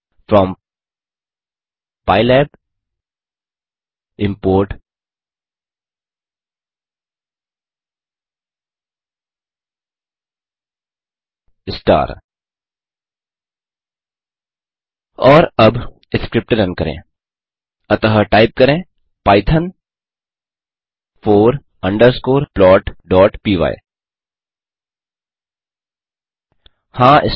from pylab import star और अब script run करें अतः टाइप करें पाइथॉन फोर अंडरस्कोर plotपाय हाँ